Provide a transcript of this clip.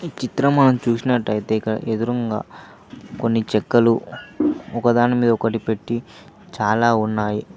ఈ చిత్రం మనం చూసినట్టయితే ఇక్కడ ఎదురుంగా కొన్ని చెక్కలు ఒకదానిమీద ఒకటి పెట్టి చాలా ఉన్నాయి.